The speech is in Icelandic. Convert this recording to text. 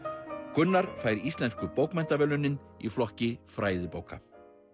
Gunnar fær Íslensku bókmenntaverðlaunin í flokki fræðibóka